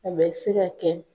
A bɛ se ka kɛ